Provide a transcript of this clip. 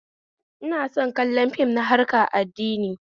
Ina son kallon fim na harkar addini